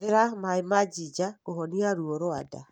Hũthĩra maĩ ma ginger kũhonia ruo rwa nda.